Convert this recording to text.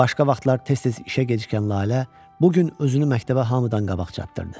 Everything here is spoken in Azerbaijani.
Başqa vaxtlar tez-tez işə gecikən Lalə bu gün özünü məktəbə hamıdan qabaq çatdırdı.